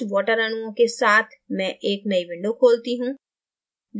कुछ water अणुओं के साथ मैं एक नयी window खोलती हूँ